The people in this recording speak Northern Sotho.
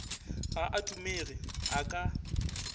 ga a dumege a ka